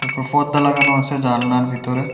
প'পর্দা লাগানো আছে জানলার ভিতরে।